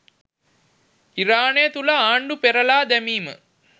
ඉරානය තුළ ආණ්ඩු පෙරළා දැමීම